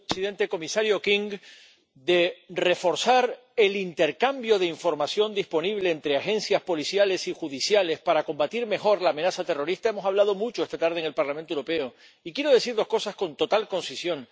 Señor presidente, comisario King, de reforzar el intercambio de información disponible entre agencias policiales y judiciales para combatir mejor la amenaza terrorista hemos hablado mucho esta tarde en el Parlamento Europeo, y quiero decir dos cosas con total concisión.